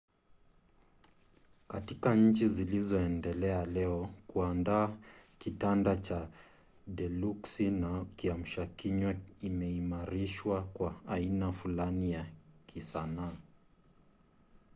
katika nchi zilizoendelea leo kuandaa kitanda cha deluksi na kiamshakinywa imeimarishwa kwa aina fulani ya kisanaa